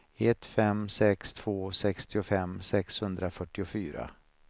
ett fem sex två sextiofem sexhundrafyrtiofyra